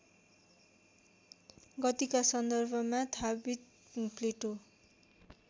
गतिका सन्दर्भमा थाबित प्लेटो